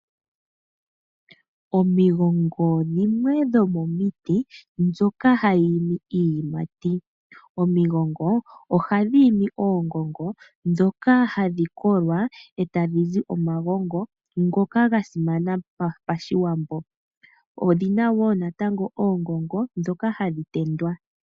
Omigongo dhimwe dhomomiti ndhoka hadhi imi iiyimati. Omigongo ohadhi imi oongongo ndhoka hadhi kolwa etadhizi omagongo ngoka gasimana pashiwambo odhina wo oongongo dhoka hadhi tendwa.